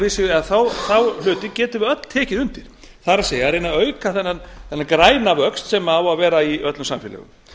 er þá hluti getum við öll tekið undir það er reyna að auka þennan græna vöxt sem á að vera í öllum samfélögum